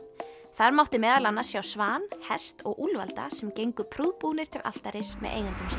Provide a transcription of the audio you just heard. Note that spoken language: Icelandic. þar mátti meðal annars sjá svan hest og úlfalda sem gengu prúðbúnir til altaris með eigendum